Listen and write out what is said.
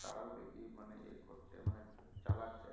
তারাও দেখি মানে ইয়ে করছে মানে চালাচ্ছে